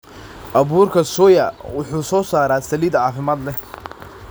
Abuurka soya wuxuu soo saaraa saliid caafimaad leh.